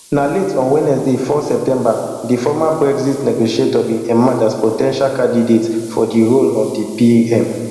na late on wednesday four september di former brexit negotiator bin emerge as po ten tial candidate for di role of di pm